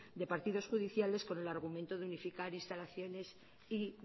de partidos judiciales con el argumento de unificar instalaciones y